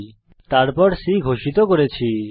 তারপর আমরা একটি ভ্যারিয়েবল C ঘোষিত করেছি